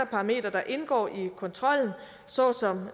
parametre der indgår i kontrollen så som